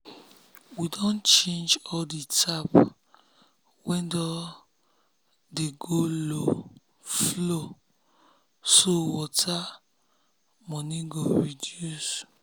we don change all the tap wey don tey go low flowso water money go reduce.